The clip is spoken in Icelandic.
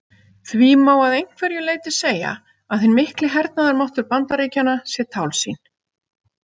Því má að einhverju leyti segja að hinn mikli hernaðarmáttur Bandaríkjanna sé tálsýn.